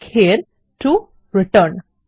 click here to return